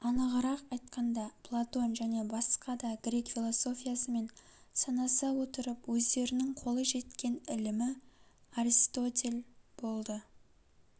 анығырақ айтканда платон және басқа да грек философиясымен санаса отырып өздерінің қолы жеткен ілімі аристотель болды